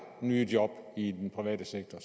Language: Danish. nye jobs i den private sektor